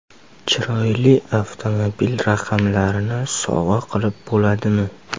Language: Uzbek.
Chiroyli avtomobil raqamlarini sovg‘a qilib bo‘ladimi?